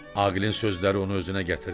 Aqilin sözləri onu özünə gətirdi.